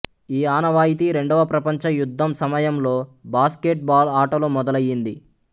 ఈ ఆనవాయితీ రెండవ ప్రపంచ యుద్ధం సమయంలో బాస్కెట్ బాల్ ఆటలో మొదలయ్యింది